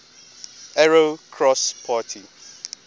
arrow cross party